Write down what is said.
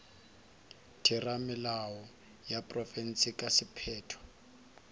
theramelao ya profense ka sephetho